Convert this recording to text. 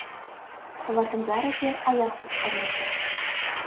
олардың бәрі де аяқсыз қалмайды